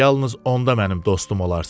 Bax, yalnız onda mənim dostum olarsan.